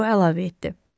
Co əlavə etdi.